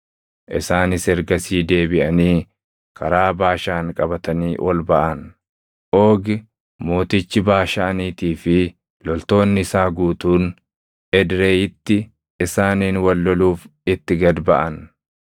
Isaanis ergasii deebiʼanii karaa Baashaan qabatanii ol baʼan; Oogi mootichi Baashaaniitii fi loltoonni isaa guutuun Edreyiitti isaaniin wal loluuf itti gad baʼan.